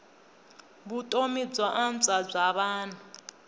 vutomi byo antswa bya vanhu